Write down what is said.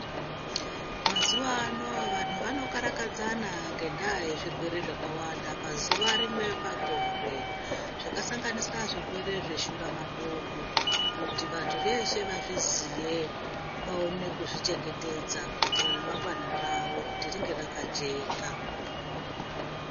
Mazuvano vantu vanokarakadzana ngendaa yezvirwere zvakawanda pazuva rimwe pagore, zvakasanganisira zvirwere zveshuramatongo, kuti vantu veshe vazviziye, vaone kuzvichengetedza kuitire ramangwana ravo kuti ringe rakajeka.